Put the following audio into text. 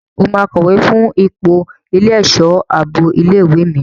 Ṣé o máa kọ̀wé fún ipò ẹlẹ́ṣọ̀ ààbò ilé ìwé mi?